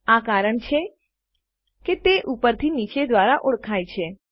આ કારણ છે કે તે ઉપર થી નીચે દ્વારા ઓળખાય છે